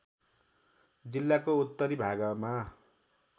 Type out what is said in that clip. जिल्लाको उत्तरी भागमा